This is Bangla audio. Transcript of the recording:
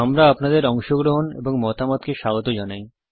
আমরা আপনাদের অংশগ্রহণ এবং মতামতকে স্বাগত জানাই